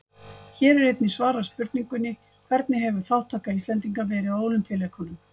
Hér er einnig svarað spurningunni: Hvernig hefur þátttaka Íslendinga verið á Ólympíuleikunum?